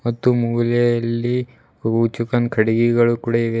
ಮತ್ತು ಮೂಲೆಯಲ್ಲಿ ಕಟಿಕೆಗಳು ಕೂಡ ಇವೆ.